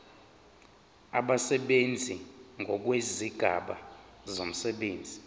abasebenzi ngokwezigaba zomsebenzi